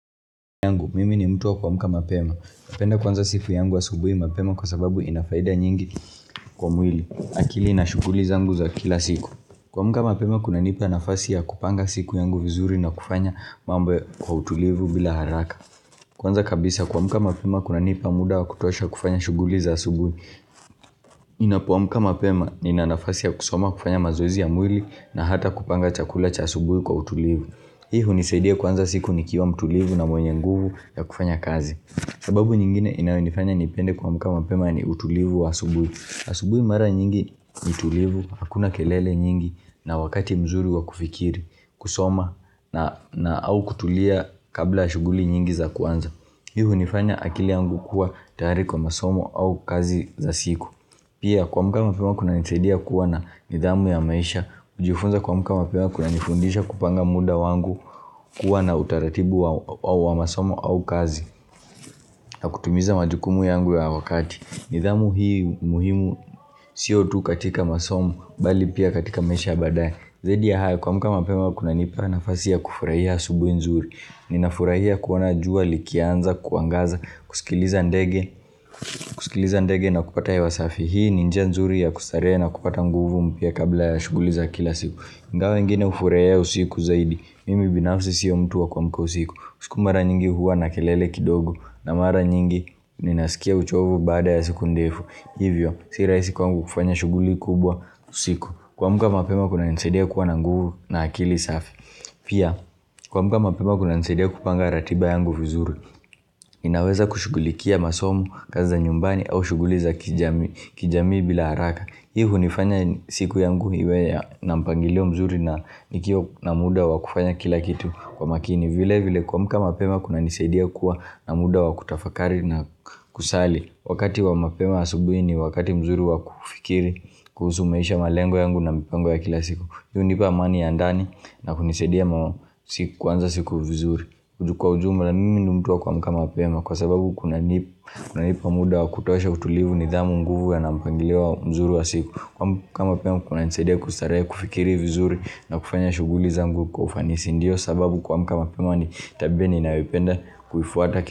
Mimi ni mtu wa kuamka mapema Napenda kuanza siku yangu asubuhi mapema kwa sababu inafaida nyingi kwa mwili akili na shughuli zangu za kila siku kuamka mapema kunanipa nafasi ya kupanga siku yangu vizuri na kufanya mambo kwa utulivu bila haraka Kwanza kabisa kuamka mapema kunanipa muda wa kutosha kufanya shughuli za asubuhi ninapoamka mapema nina nafasi ya kusoma kufanya mazoezi ya mwili na hata kupanga chakula cha asubuhi kwa utulivu Hii hunisaidia kuanza siku nikiwa mtulivu na mwenye nguvu ya kufanya kazi sababu nyingine inayonifanya nipende kuamka mapema ni utulivu wa asubuhi Asubuhi mara nyingi ni tulivu, hakuna kelele nyingi na wakati mzuri wa kufikiri, kusoma na au kutulia kabla shughuli nyingi za kwanza Hii hunifanya akili yangu kuwa tayari kwa masomo au kazi za siku Pia kuamka mapema kunanisaidia kuwa na nidhamu ya maisha kujifunza kuamka mapewa kunanifundisha kupanga muda wangu kuwa na utaratibu wa masomo au kazi na kutimiza majukumu yangu ya wakati nidhamu hii muhimu sio tu katika masomo bali pia katika maisha ya baadaye zaidi ya hayo kuamka mapema kunanipa nafasi ya kufurahia asubuhi nzuri Ninafurahia kuona jua likianza kuangaza kusikiliza ndege na kupata ya huwa safi Hii ni njia nzuri ya kustarehe na kupata nguvu mpya kabla ya shughuli za kila siku ingawa wengine hufurahia usiku zaidi, mimi binafsi siyo mtu wa kuamka usiku usiku mara nyingi huwa na kelele kidogo na mara nyingi ninasikia uchovu baada ya sikun defu Hivyo, si rahisi kwangu kufanya shughuli kubwa usiku kuamka mapema kunanisaidia kuwa na nguvu na akili safi Pia, kuamka mapema kunanisaidia kupanga ratiba yangu vizuri ninaweza kushughulikia masomo, kazi za nyumbani au shughuli za kijamii bila haraka Hii hunifanya siku yangu iwe ya na mpangilio mzuri na nikiwa na muda wa kufanya kila kitu kwa makini vile vile kuamka mapema kunanisaidia kuwa na muda wa kutafakari na kusali Wakati wa mapema asubuhi ni, wakati mzuri wa kufikiri, kuhusu maisha malengo yangu na mpango ya kila siku Hii hunipa amani ya ndani na kunisaidia kuanza siku vizuri Kwa ujumla mimi ni mtu wa kuamka mapema kwa sababu kunanipa muda wa kutosha utulivu nidhamu nguvu na mpangilio mzuri wa siku kuamka mapema kunanisaidia kustarehe kufikiri vizuri na kufanya shughuli zangu kwa ufanisi Ndiyo sababu kuamka mapema ni tabia ninayoipenda kufuata.